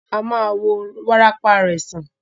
A ma wo wárápá rẹ̀ sàn.